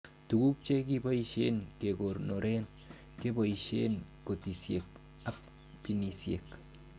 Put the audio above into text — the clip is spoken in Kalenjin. Tuguk che kiboishen kekonoren keboishen katisiek ab binisiek